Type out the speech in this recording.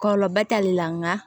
Kɔlɔlɔba t'ale la nka